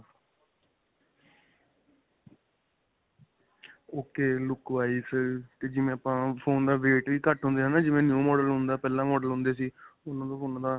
ok. look wise ਜਿਵੇਂ ਆਪਾਂ phone ਦਾ weight ਵੀ ਘੱਟ ਹੁੰਦਾ ਹੈ ਨਾਂ, ਜਿਵੇਂ new model ਹੁੰਦਾ ਪਹਿਲਾਂ model ਹੁੰਦੇ ਸੀ ਉਨ੍ਹਾਂ ਦਾ .